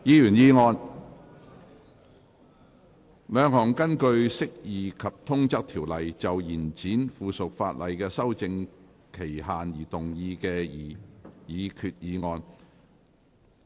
兩項根據《釋義及通則條例》就延展附屬法例的修訂期限而動議的擬議決議案。